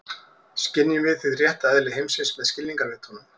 Skynjum við hið rétta eðli heimsins með skilningarvitunum?